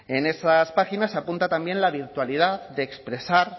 en esas páginas se apunta también la virtualidad de expresar